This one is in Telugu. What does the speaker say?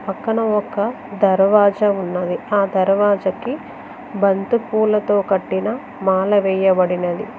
పక్కన ఒక దర్వాజా ఉన్నది ఆ దర్వాజకి బంతిపూలతో కట్టిన మాల వేయబడినది.